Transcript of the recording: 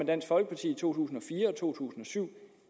dansk folkeparti i to tusind og fire to tusind og syv